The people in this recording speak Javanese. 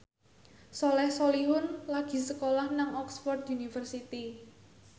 Soleh Solihun lagi sekolah nang Oxford university